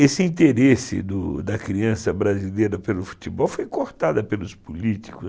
Esse interesse do da criança brasileira pelo futebol foi cortado pelos políticos.